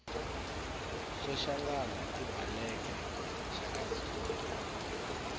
soshangana ibhaleke shakazulu